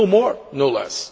No more, no less.